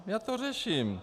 Já to řeším.